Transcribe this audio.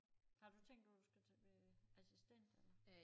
Har du tænkt om du skal til øh assistent eller